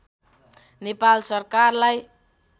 नेपाल सरकारलाई